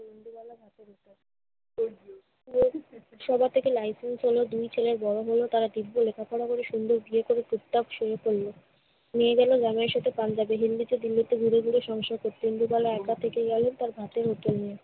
সবার থেকে license পেল, দুই ছেলে বড় হলো। তারা দিব্যি লেখাপড়া করে সুন্দর বিয়ে করে চুপচাপ সরে পড়লো। মেয়ে গেল জামাই এর সাথে পাঞ্জাবে। হিল্লিতে দিল্লিতে ঘুরে ঘুরে সংসার করতে। ইন্দুবালা একা থেকে গেলো তার ভাতের হোটেল নিয়ে।